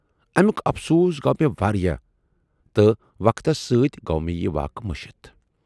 اَمیُک افسوٗس گَوٚو مےٚ واریاہ تہٕ وقتس سۭتۍ گَوٚو مےٚ یہِ واقعہٕ مٔشِتھ۔